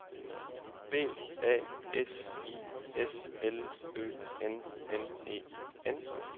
B A S I S L Ø N N E N